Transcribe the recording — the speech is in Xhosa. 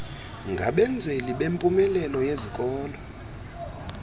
ngabenzeli bempumelelo yezikolo